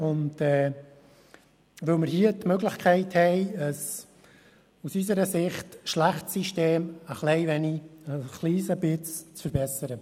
Dies, weil wir hier die Möglichkeit haben, ein aus unserer Sicht schlechtes System ein klein wenig zu verbessern.